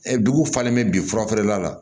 dugu falen bɛ bi furafeerela la